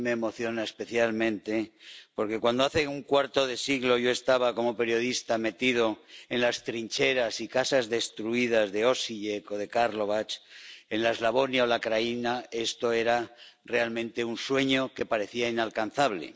A mí me emociona especialmente, porque, cuando hace un cuarto de siglo yo estaba como periodista metido en las trincheras y casas destruidas de Osijek o de Karlovac, en la Eslavonia o la Krajina, esto era realmente un sueño que parecía inalcanzable.